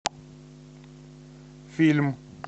фильм